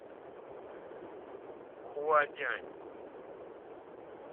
хуадянь